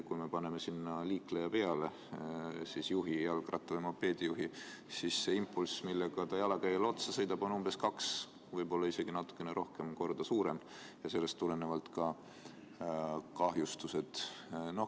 Kui me paneme sinna liikleja peale – jalgratturi või mopeedijuhi –, siis see impulss, millega ta jalakäijale otsa sõidab, on umbes kaks, võib-olla isegi natukene rohkem kordi suurem ja sellest tulenevalt ka kahjustused.